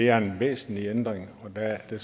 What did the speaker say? er en væsentlig ændring og der er det